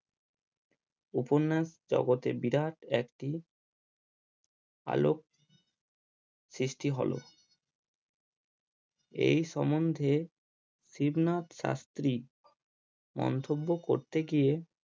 উপন্যাস জগতে বিরাট একটি আলোক সৃষ্টি হলো এই সমন্ধে শিবনাথ শাস্তি মন্তব্য করতে গিয়ে